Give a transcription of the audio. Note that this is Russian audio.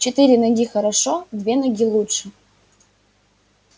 четыре ноги хорошо две ноги лучше